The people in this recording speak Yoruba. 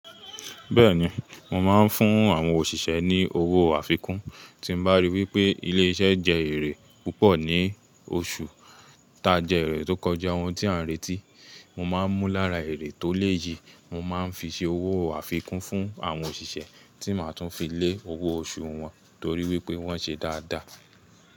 Bẹ́ẹ̀ni, mo máa ń fún àwọn òṣìṣẹ́ ní owó àfikún tí bá rí wí pé ilé-iṣẹ́ jẹ èrè púpọ̀ ní oṣù tá jẹ́ ẹ̀rẹ̀ tó kọjá, ohun tí a ń retí. Mo máa ń mú lára èrè tó lé yìí, mo máa ń fi ṣe owó àfikún fún àwọn òṣìṣẹ́ tí máa tún fi lé owó oṣù wọn torí wípé wón ṣe dáadáa.